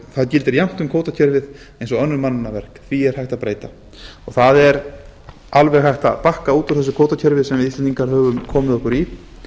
það gildir jafnt um kvótakerfið og annað það er alveg hægt að bakka út úr þessu kvótakerfi sem við íslendingar höfum komið okkur í